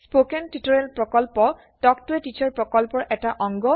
spoken tutorial প্ৰকল্প talk ত a teacher প্ৰকল্পৰ এটা অংগ